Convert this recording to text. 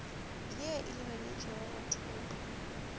ye e lebeletpego go tlopa